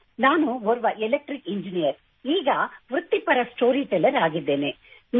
ನಾನು ಓರ್ವ electric engineer ಈಗ ವೃತ್ತಿಪರ ಸ್ಟೋರಿಟೆಲ್ಲರ್ ಆಗಿದ್ದೇನೆ